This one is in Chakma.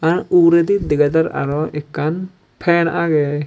r uguredi dega jar aro ekkan fan aage.